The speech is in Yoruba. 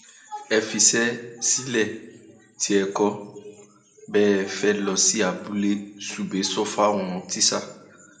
ẹ fiṣẹ sílẹ tí ẹ kò bá fẹẹ lọ sí abúlé subeh sọ fáwọn tíṣà